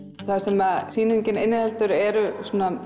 það sem sýningin inniheldur er